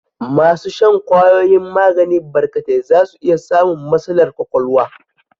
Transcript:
Masu shan kwayoyin magani barkatai za su iya samun matsalar ƙwaƙwalwa.